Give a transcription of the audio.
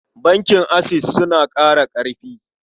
Bankin Access suna ƙara ƙarfi.